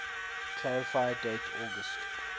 clarify date august